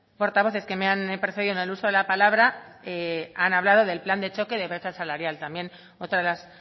portavoces que me han precedido en el uso de la palabra han hablado del plan de choque de brecha salarial también otra de las